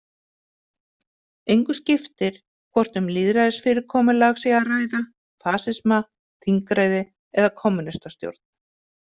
Engu skiptir hvort um lýðræðisfyrirkomulag sé að ræða, fasisma, þingræði eða kommúnistastjórn.